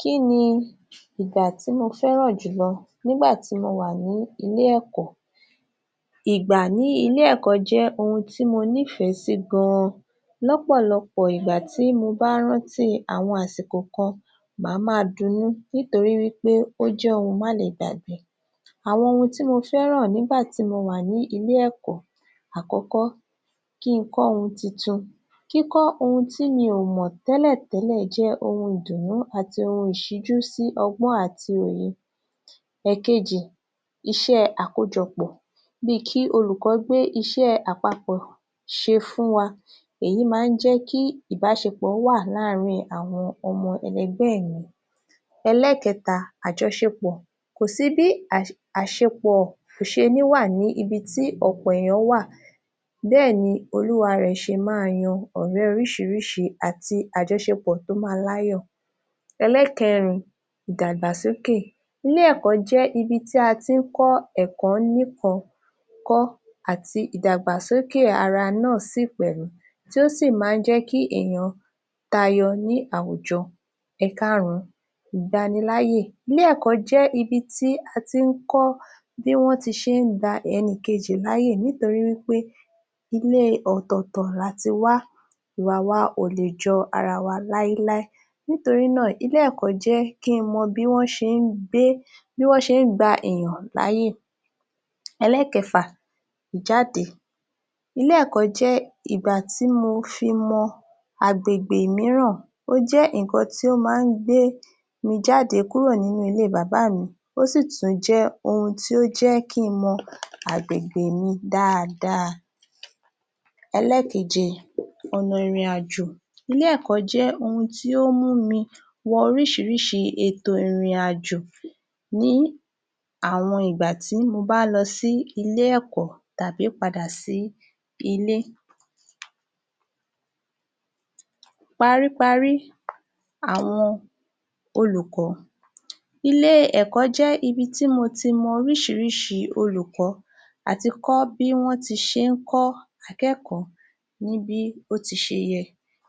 Kí ni ìgbà tí mo fẹ́ràn jùlọ nígbà tí mo wà ní ilé-ẹ̀kọ́? Ìgbà ní ilé-ẹ̀kọ́ jẹ́ ohun tí mo nífẹ́ sí gan-an. Lọ́pọ̀lọpọ̀ ìgbà tí mo bá ń rántí àwọn àkókò kan màá máa dunnú nítorí wí pé ó jẹ́ ohun má le gbàgbá. Àwọn ohun tí mo fẹ́ràn nígbà tí mo wà ní ilé-ẹ̀kọ́ Àkọ́kọ́- Kí n kọ́ ohun titun. Kíkọ́ ohun tí mi ò mọ̀ télẹ̀ tẹ́lẹ̀ jẹ́ ohun ìdùnnú ̀ti ohun ìṣíjú sí ọgbọ́n àti òye. Ẹ̀kejì- Iṣẹ́ àkójọpọ̀ bí i kí olùkọ́ gbé iṣẹ́ àpapọ̀ ṣe fuhn wa, èyí má ń jẹ́ kí ìbáṣepọ̀ ó wà ĺàrin àwọn ọmọ ẹlẹgbẹ́ mi. Ẹlẹ́kẹta- Àjọṣepọ̀..kò sí bí àṣepọ̀ ò ṣe ní wà ní ibi tí ọ̀pọ̀ èyàn wà bẹ́ẹ̀ ni olúwarẹ̀ ṣe máa yan ọ̀rẹ́ oríṣiríṣi àti àjọṣepọ̀tó máa láyọ̀. Ẹlẹ́kẹrin- Ìdàgbàsókè- Ilé-ẹ̀kọ́ jẹ́ ibi tí a ti ń kọ́ bí wọ́n ti ṣe ń gba ẹnìkejì láyè nítorí wí pé ilé ọ̀tọ̀ọ̀tọ̀ la ti wá, ìwà wa ò lè jọ ara wa láí láí. Nítorí náà ilé-ẹ̀kọ́ jẹ́ kí n mọ bí wọ́n ṣe ń gbé..bí wọ́n ṣe ń gbe èyàn láyè. Ẹlẹ́kẹfà- Ìjáde-Ilé-ẹ̀kọ́ jẹ́ ìgbà tí mo fi mọ agbègbè míràn, ó jẹ́ ǹkan tí ó ma gbé mi jáde kúrò nínú ilé bàbá mi ó sì tún jẹ́ ohun tí ó jẹ́ kí n mọ agbègbè mi dáadáa. Ẹlẹ́keje: Ọ̀nà ìrìnàjò-Ilé-ẹ̀kọ́ jẹ́ ohun tí ó mú mi wọ ríṣiríṣi ètò ìrìnàjò ní àwọn ìgbà tí mo bá lọ sí ilé -ẹ̀kọ́ tàbí padà sí ilé. Paríparí àwọn olùkọ́ ilé-ẹ̀kọ́ jẹ́ ibi tí mo ti mọ oríṣiríṣi olùkọ́ ati kọ́ bí wọ́n ti ṣe ń kọ́ akẹ́kọ̀ọ́ ní bí ó ṣe yẹ,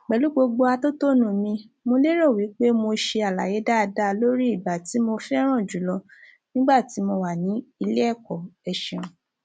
pẹ̀lú gbogbo ohun atótónu mi. Mo lérò pé mo ṣe àlàyé dáadáa lórí i ìgbà tí mo fẹ́ràn jùlọ nígbà tí mo wà ní ilé-ẹ̀kọ́. Ẹ ṣeun.